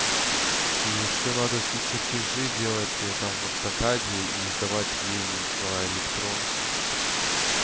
и что надо все чертежи делать там в автокаде и сдавать ей по электронке что-то такое